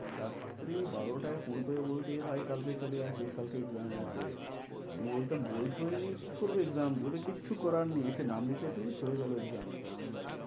রাত্রি বারোটায় phone করে বলতো এ ভাই কালকে চলে আসিস কালকে exam আছে। আমি বলতাম বই টই নেই কি করবো exam দিয়ে? ওরে কিছু করার নেই এসে নাম লিখিয়ে দে হয়ে গেলো exam দেওয়া।